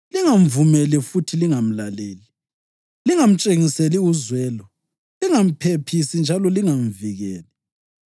lingamvumeli futhi lingamlaleli. Lingamtshengiseli uzwelo. Lingamphephisi njalo lingamvikeli.